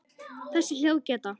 Þessi hljóð geta